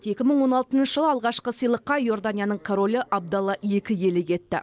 екі мың он алтыншы жылы алғашқы сыйлыққа иорданияның королі абдалла екі иелік етті